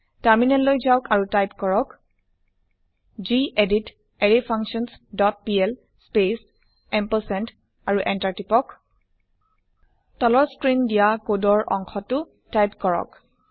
terminal লৈ যাওক আৰু টাইপ কৰক গেদিত array functions dot PL space ampersand আৰু টিপক Enter তলৰ স্ক্ৰিন দিয়া কোডৰ অংশ টো টাইপ কৰক